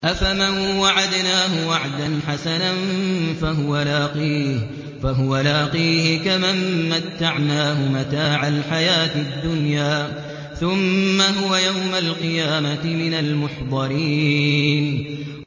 أَفَمَن وَعَدْنَاهُ وَعْدًا حَسَنًا فَهُوَ لَاقِيهِ كَمَن مَّتَّعْنَاهُ مَتَاعَ الْحَيَاةِ الدُّنْيَا ثُمَّ هُوَ يَوْمَ الْقِيَامَةِ مِنَ الْمُحْضَرِينَ